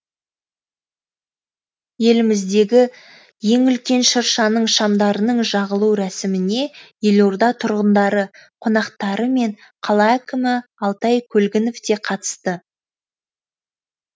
еліміздегі ең үлкен шыршаның шамдарының жағылу рәсіміне елорда тұрғындары қонақтары мен қала әкімі алтай көлгінов те қатысты